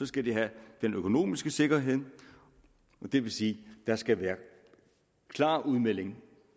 skal de have den økonomiske sikkerhed og det vil sige at der skal være en klar udmelding